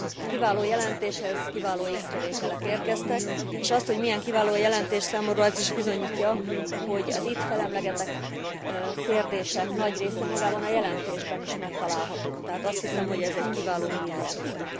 Egy kiváló jelentéshez kiváló észrevételek érkeztek, és azt, hogy milyen kiváló a jelentés, számomra az is bizonyítja, hogy az itt felemlegetett kérdések nagy része magában a jelentésben is megtalálható, tehát azt hiszem, hogy ez egy kiváló vitaalap volt.